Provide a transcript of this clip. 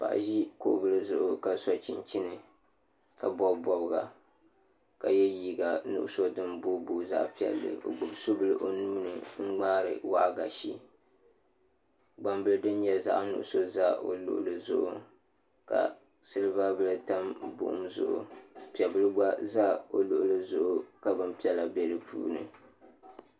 Paɣa ʒi kuɣu bili zuɣu ka so chinchini ka bob bobga ka yɛ liiga nuɣuso din boiboi zaɣ piɛli o gbubi subili o nuuni n ŋmaari waagashe gbambili din nyɛ zaɣ nuɣso ʒɛ o luɣuli zuɣu ka silba bili tam buɣum zuɣu piɛ bili gba ʒɛ o luɣuli zuɣu ka bin piɛla bɛ di puuni